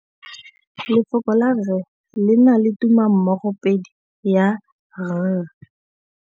Lefoko la rre le na le tumammogôpedi ya, r.